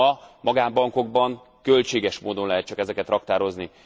Ma magánbankokban, költséges módon lehet csak ezeket raktározni.